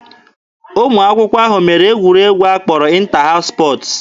Ụmụ akwụkwọ ahụ mere egwuregwu a kpọrọ 'ịnta haụs spọtz'